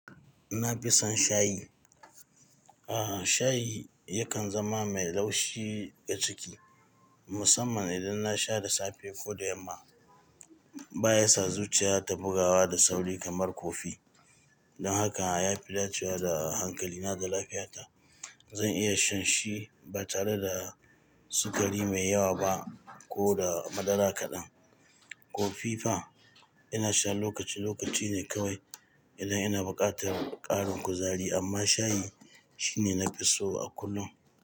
Na fi son shayi. A'a, shayi yakan zama mai laushi ga ciki, musamman idan na sha da safe ko da yamma. Ba ya sa zuciya ta bugawa da sauri kamar kofi. Don haka, ya fi dacewa da hankalina da lafiyata. Zan iya shan shi ba tare da sukari mai yawa ba ko da madara kaɗan. Kofi fa, ina sha lokaci-lokaci ne kawai idan ina buƙatar ƙarin kuzari, amma shayi shine na fi so a kullum.